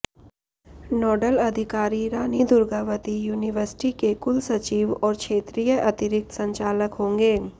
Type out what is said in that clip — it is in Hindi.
नोडल अधिकारी रानी दुर्गावती यूनिवर्सिटी के कुलसचिव और क्षेत्रीय अतिरिक्त संचालक होंगे